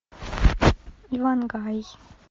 ивангай